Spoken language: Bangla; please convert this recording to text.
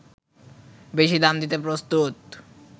বেশি দাম দিতে প্রস্তুত